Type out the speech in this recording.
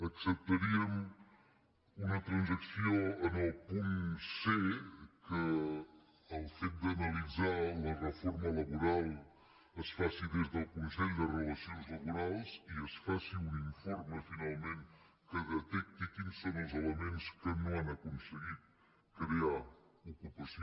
acceptaríem una transacció en el punt cd’analitzar la reforma laboral es faci des del consell de relacions laborals i es faci un informe finalment que detecti quins són els elements que no han aconse·guit crear ocupació